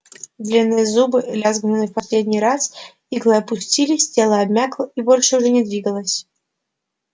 длинные зубы лязгнули в последний раз иглы опустились тело обмякло и больше уже не двигалось